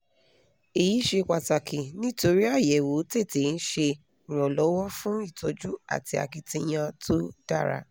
èyí ṣe pàtàkì nítorí àyẹ̀wò tètè ń ṣe iìrànlọ́wọ́ fún ìtọ́jú àti akitiyan tó dára